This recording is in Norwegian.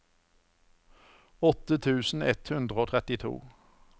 åtte tusen ett hundre og trettito